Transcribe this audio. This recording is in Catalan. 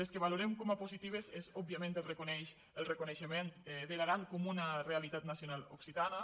les que valorem com a positives són òbviament el reconeixement de l’aran com una realitat nacional oc·citana